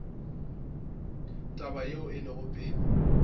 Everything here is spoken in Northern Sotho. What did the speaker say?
taba yeo e lego pele